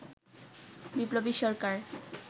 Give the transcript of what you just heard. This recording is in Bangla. বিপ্লবী সরকার